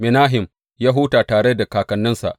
Menahem ya huta tare da kakanninsa.